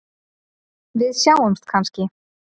Við sjáumst kannski?